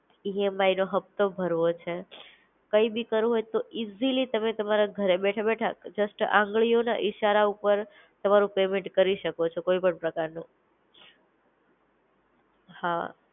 EMI નો હફતો ભરવો છે, કઈ ભી કરવું હોય તો ઈઝીલી તમે તમારા ઘરે બેઠા બેઠા, જસ્ટ આંગળિયો ના ઈશારા ઉપર તમારું પેમેન્ટ કરી શકો છો કોઈ પણ પ્રકારનો. હા